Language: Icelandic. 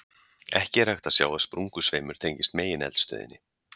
Ekki er hægt að sjá að sprungusveimur tengist megineldstöðinni.